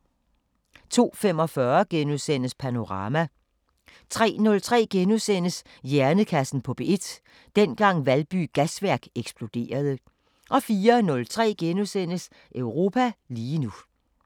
02:45: Panorama * 03:03: Hjernekassen på P1: Dengang Valby Gasværk eksploderede * 04:03: Europa lige nu *